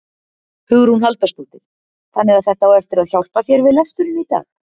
Hugrún Halldórsdóttir: Þannig að þetta á eftir að hjálpa þér við lesturinn í dag?